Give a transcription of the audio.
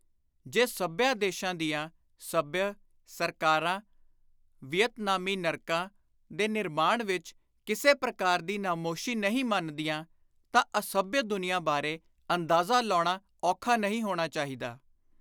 ਜੇ ਸੱਭਿਆ ਦੇਸ਼ਾਂ ਦੀਆਂ, ਸੱਭਿਅ, ਸਰਕਾਰਾਂ, ਵੀਅਤਨਾਮੀ, ਨਰਕਾਂ, ਦੇ ਨਿਰਮਾਣ ਵਿਚ ਕਿਸੇ ਪ੍ਰਕਾਰ ਦੀ ਨਾਮੋਸ਼ੀ ਨਹੀਂ ਮੰਨਦੀਆਂ ਤਾਂ ਅਸੱਭਿਅ ਦੁਨੀਆਂ ਬਾਰੇ ਅੰਦਾਜ਼ਾ ਲਾਉਣਾ ਔਖਾ ਨਹੀਂ ਹੋਣਾ ਚਾਹੀਦਾ।